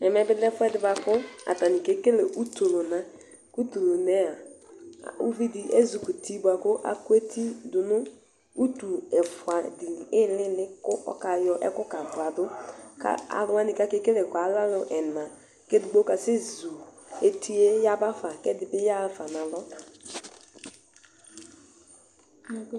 Ɛmɛbi lɛ ɛfʋɛdi bʋakʋ atani kekele utukʋna Kʋ utulʋna yɛa ʋvidi ezi kɔ uti bʋakʋ akʋ eti dʋnʋ utu ɛfʋadi iilili kʋ ɔkayɔ ɛkʋ kabʋdʋ Kʋ alʋwani kʋ akekele ɛkʋɛ alɛ akʋ ɛna Edigbo kasɛzʋ etiyɛ yabafa kʋ, ɛdiyaxa fa nʋ alɔ